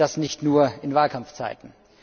Und das nicht nur in Wahlkampfzeiten!